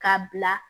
K'a bila